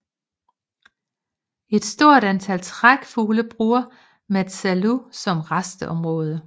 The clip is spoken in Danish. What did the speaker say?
Et stort antal trækfugle bruger Matsalu som rasteområde